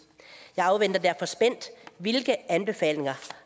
jeg afventer derfor spændt hvilke anbefalinger